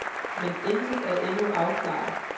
Men intet er endnu afklaret.